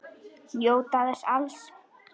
Njóta þess alls.